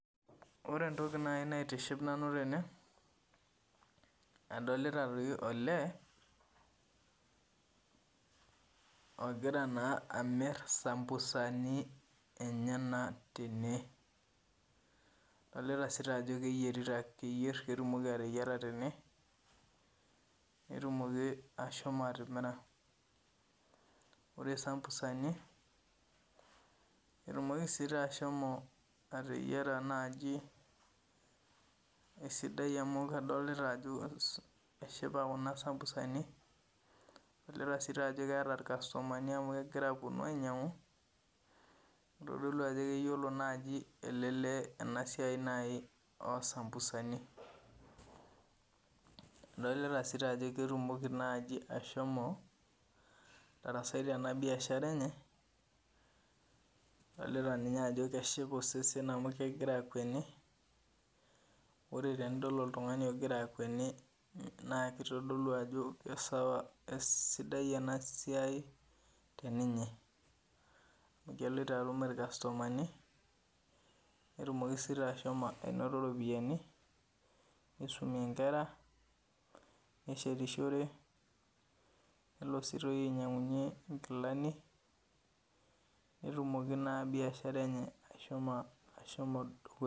Ore entoki nai naitiship nanu tene adolita toi olee ogira naa amirr sambusani enyena tene. Adolita sii taa ajo keyierita, keyierr ketumoki ateyiera tene petumoki ashomo atimira. Ore sambusani etumoki sii taa ashomo ateyiera naji esidai amu kadolita ajo eshipa kuna sambusani, adolita sii taajo keeta ilkastomani amu kegira apuonu ainyang'u eitodolu ajo keyiolo naaji ele lee ena siai nai osambusani. Adolita sii taajo ketumoki naji ashomo atarasai tena biashara enye adolita ninye ajo keshipa osesen amu kegira akweni, ore tenidol oltung'ani ogira akweni naakeitodolu ajo kesawa , esidai ena siai teninye. Egelita aum ilkastomani netumoki sii taa ashomo ainoto iropiyani neisumie nkera, neshetishore, nelo sii toi ainyang'unye nkilani netumoki naa biashara enye ashomo dukuya.